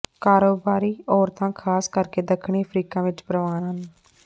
ਕਾਰੋਬਾਰੀ ਔਰਤਾਂ ਖਾਸ ਕਰਕੇ ਦੱਖਣੀ ਅਫ਼ਰੀਕਾ ਵਿਚ ਪ੍ਰਵਾਨ ਹਨ